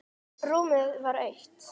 Rúmið var autt.